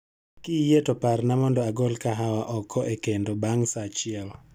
Kiyie to parna mondo agol kahawa oko e kendo bang' saa achiel.